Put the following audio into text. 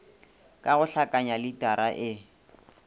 ka go hlakanya litara e